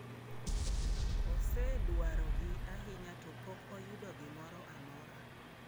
Osedwarogi ahinya to pok oyudo gimoro amora.